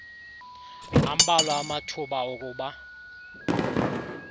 ambalwa amathuba okuba